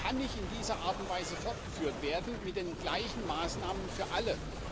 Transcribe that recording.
Er kann nicht in dieser Art und Weise fortgeführt werden, mit den gleichen Maßnahmen für alle.